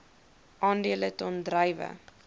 aandele ton druiwe